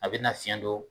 A bɛna fiɲɛ don